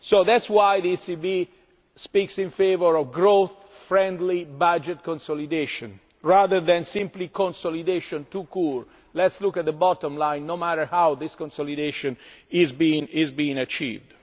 That is why the ECB speaks in favour of growth friendly budget consolidation, rather than simply consolidation tout court that says let us look at the bottom line no matter how this consolidation is being achieved'.